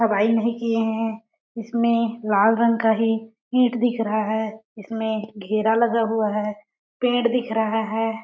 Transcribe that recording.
अवाई नहीं किये है। इसमें लाल रंग का ही ईंट दिख रहा है इसमें घेरा लगा हुआ है पेड़ दिख रहा है ।